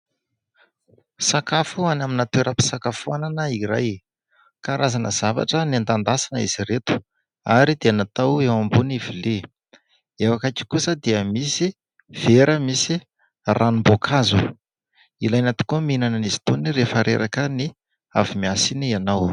Sakafo any amina toeram-pisakafoanana iray. Karazana zavatra noendakendasina izy ireto ary dia natao eo ambony vilia. Eo akaiky kosa dia misy vera misy ranom-boankazo. Ilaina tokoa ny mihinana azy itony rehefa reraka ny avy miasa iny ianao.